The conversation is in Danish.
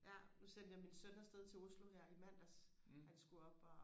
ja nu sendte jeg min søn afsted til Oslo her i mandags han skulle op og